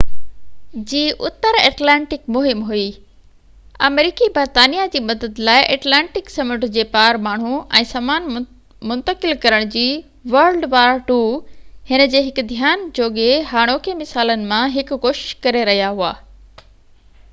هن جي هڪ ڌيان جوڳي هاڻوڪي مثالن مان هڪ wwii جي اتر ايٽلانٽڪ مهم هئي آمريڪي برطانيا جي مدد لاءِ ايٽلانٽڪ سمنڊ جي پار ماڻهو ۽ سامان منتقل ڪرڻ جي ڪوشش ڪري رهيا هئا